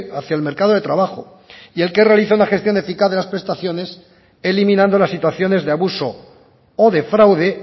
hacia el mercado de trabajo y el que realiza una gestión eficaz de las prestaciones eliminando las situaciones de abuso o de fraude